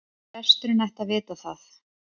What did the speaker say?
Presturinn ætti að vita það.